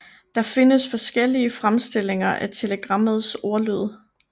Der findes forskellige fremstillinger af telegrammets ordlyd